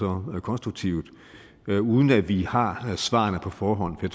og konstruktivt uden at vi har svarene på forhånd det